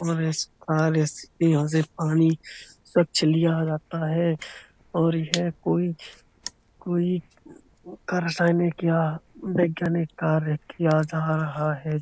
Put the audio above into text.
उन्होने इस कार्य पानी स्वच्छ लिया जाता है। और यह कोई कोई रासायनिक या वैज्ञानिक कार्य किया जा रहा है।